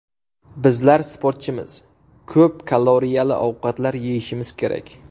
Bizlar sportchimiz, ko‘p kaloriyali ovqatlar yeyishimiz kerak.